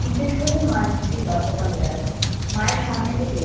জিজ্ঞেস করলেই মা নিশ্চয়ই লজ্জা পাবে আর মায়ের সামনে থেকে